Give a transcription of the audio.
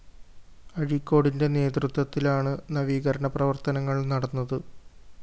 അഴിക്കോടിന്റെ നേതൃത്വത്തിലാണ്‌ നവീകരണ പ്രവര്‍ത്തനങ്ങള്‍ നടന്നത്‌